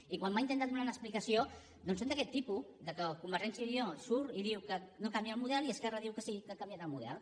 i quan m’ha intentat donar una explicació doncs són d’aquest tipus que convergència i unió surt i diu que no canvia el model i esquerra diu que sí que ha canviat el model